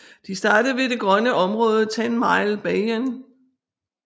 De startede ved det grønne område Tenmile Bayou